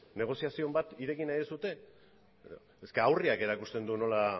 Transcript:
negoziazioren bat irekin nahi duzue aurreak erakusten du nola